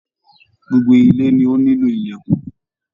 Gbogbo ile ni o nílò ìlèkùn.